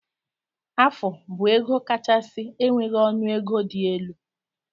Afu bu ego kachasi enweghi ọnụ ego di elu.